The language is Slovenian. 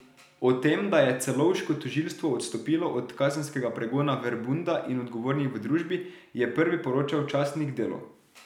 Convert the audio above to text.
O tem, da je celovško tožilstvo odstopilo od kazenskega pregona Verbunda in odgovornih v družbi, je prvi poročal časnik Delo.